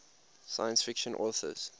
science fiction authors